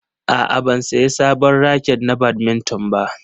A'a, ban sayi sabon raket na badminton ba.